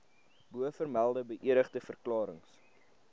bovermelde beëdigde verklarings